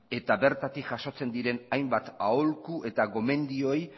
eta bertatik jasotzen diren hainbat aholku eta gomendioei